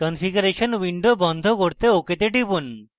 configuration window বন্ধ করতে ok তে টিপুন